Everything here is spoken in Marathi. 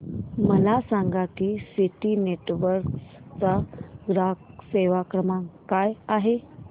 मला सांगा की सिटी नेटवर्क्स चा ग्राहक सेवा क्रमांक काय आहे